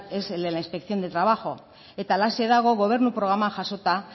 es el de la inspección de trabajo eta halaxe dago gobernu programan jasota